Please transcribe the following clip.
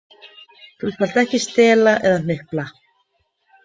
Þú skalt ekki stela eða hnupla.